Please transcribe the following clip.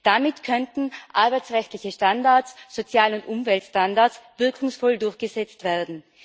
Damit könnten arbeitsrechtliche Standards, Sozial und Umweltstandards wirkungsvoll durchgesetzt werden.